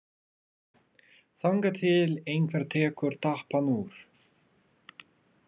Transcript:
Þangað til einhver tekur tappann úr.